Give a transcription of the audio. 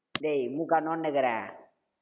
டேய் மூக்கா நோண்டின்னுகிறே